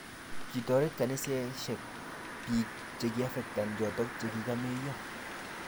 Kitoret kaniset biik chikiaffecten choto chikikakomeiyo